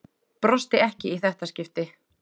Brosti ekki í þetta skipti.